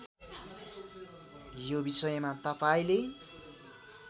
यो बिषयमा तपाईँंले